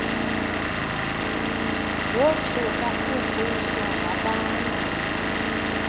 wothuka uvuyiswa wabanda